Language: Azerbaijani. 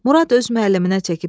Murad öz müəlliminə çəkib.